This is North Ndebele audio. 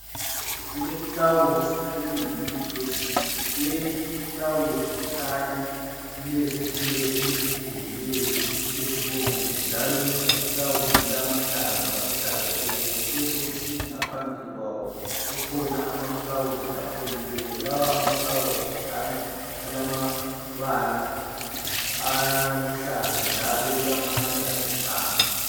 Kuleflawuzi elingumuthi wesintu. Leli iflawuzi likhanya lilezithelo elizithelileyo ezibomvu njalo leli iflawuzi lilamahlamvu aluhlaza tshoko. Kubesokusothi ngaphambili kwawo kukhona amaflawuzi afolileyo, lawa amaflawuzi kukhanya alamabala aluhlaza njalo kulamanye alithanga.